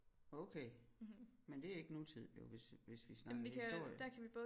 Okay men det er ikke nutid jo hvis hvis vi snakker historie